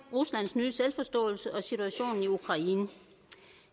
ruslands nye selvforståelse og situationen i ukraine